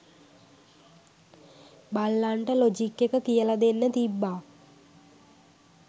බල්ලන්ට logic එක කියල දෙන්න තිබ්බා